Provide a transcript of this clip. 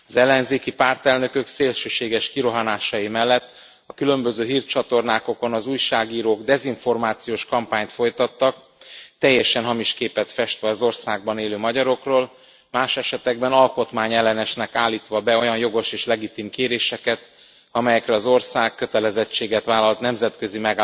Az ellenzéki pártelnökök szélsőséges kirohanásai mellett a különböző hírcsatornákon az újságírók dezinformációs kampányt folytattak, teljesen hamis képet festve az országban élő magyarokról, más esetekben alkotmányellenesnek állítva be olyan jogos és legitim kéréseket, amelyekre az ország kötelezettséget vállalt nemzetközi